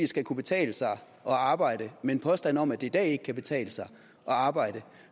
skal kunne betale sig at arbejde med en påstand om at det i dag ikke kan betale sig at arbejde